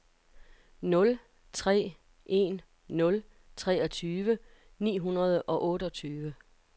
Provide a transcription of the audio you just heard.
nul tre en nul treogtyve ni hundrede og otteogtyve